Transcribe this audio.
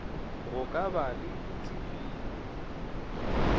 go ka ba le ditefio